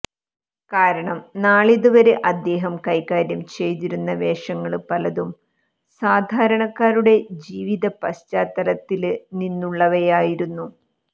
കാരണം നാളിതു വരെ അദ്ദേഹം കൈകാര്യം ചെയ്തിരുന്ന വേഷങ്ങള് പലതും സാധാരണക്കാരുടെ ജീവിത പശ്ചാത്തലത്തില് നിന്നുള്ളവയായിരുന്നു